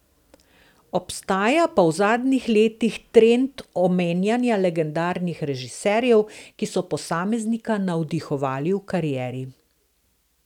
Obstaja pa v zadnjih letih trend omenjana legendarnih režiserjev, ki so posameznika navdihovali v karieri.